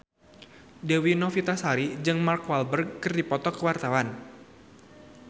Dewi Novitasari jeung Mark Walberg keur dipoto ku wartawan